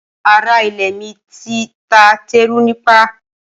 Ará ilé mi ti ta tẹ́ru nípàá